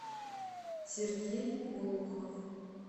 сергей глухов